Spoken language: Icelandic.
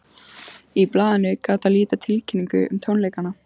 Í blaðinu gat að líta tilkynningu um tónleikana.